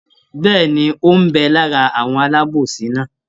Bẹ́ẹ̀ni, ó ń bẹ lára àwọn alábòsí náà?